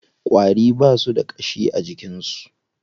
Ƙwari ba su da ƙashi a jikin su.